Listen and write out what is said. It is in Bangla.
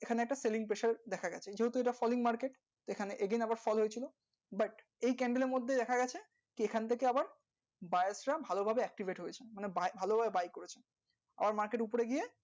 এখানে candle এর মধ্যে দেখা গেছে এই candle গুলো buyers রা ভাল ভাবে accept করে আবার market